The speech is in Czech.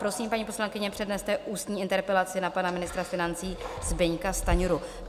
Prosím, paní poslankyně, předneste ústní interpelaci na pana ministra financí Zbyňka Stanjuru.